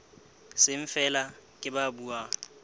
seng feela ke ba buang